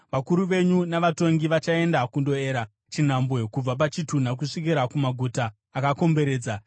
vakuru venyu navatongi vachaenda kundoera chinhambwe kubva pachitunha kusvika kumaguta akakomberedza.